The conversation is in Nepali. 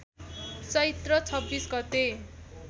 चैत्र २६ गते